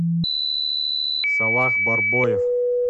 салах барбоев